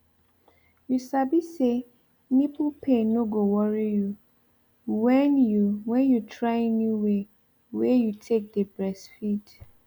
you sabi say nipple pain no go worry you when you when you try new way wey you take dey breastfeed